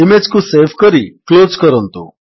image କୁ save କରି close କରନ୍ତୁ